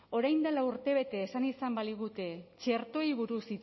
orain dela urtebete esan izan baligute txertoei buruz